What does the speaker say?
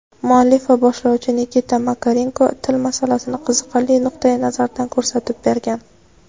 Muallif va boshlovchi Nikita Makarenko til masalasini qiziqarli nuqtai-nazardan ko‘rsatib bergan.